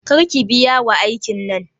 Kar ki biya wa aikin nan.